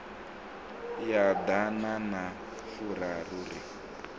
ya ḓana na furaru ri